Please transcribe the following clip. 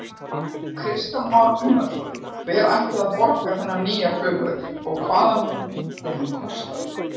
Kristján Már Unnarsson: Hver ætti að borga þarna nýja flugvöll og hvað myndi hann kosta?